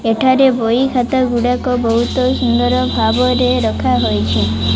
ଏଠାରେ ବହି ଖାତା ଗୁଡାକ ବୋହୁତ ସୁନ୍ଦର୍ ଭାବରେ ରଖାହୋଇଚି ।